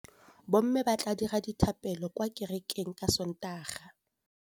Bommê ba tla dira dithapêlô kwa kerekeng ka Sontaga.